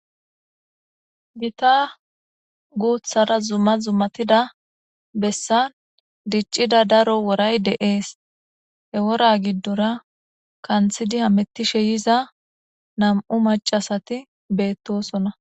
gita guuthara zumma zummatida bessa diccida daro woray deees he wora giddora kanthidi hamettishe yiza nam7u macasati beettosona